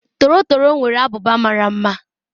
Torotoro nwere ábụbà mara mma.